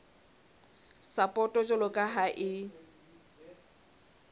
sapoto jwalo ka ha e